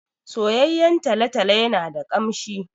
Soyayyen talo-talo yana da ƙamshi.